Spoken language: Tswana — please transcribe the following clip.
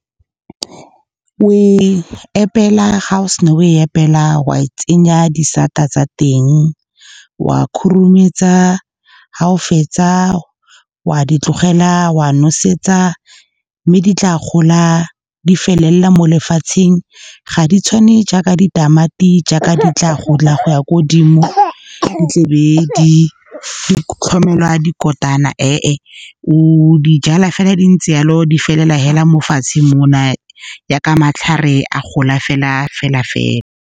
Oe epela, ga o sena oe epela, wa e tsenya disata tsa teng, wa khurumetsa. Ga o fetsa, wa di tlogela, wa nosetsa mme di tla gola, di felela mo lefatsheng. Ga di tshwane jaaka ditamati, jaaka di tla gola go ya ko godimo, di tlebe di tlhomelwa dikotana . O dijala fela di ntse yalo, di felela fela mo fatshe mo na jaaka matlhare a gola fela.